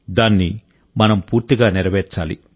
దాన్ని మనం పూర్తిగా నెరవేర్చాలి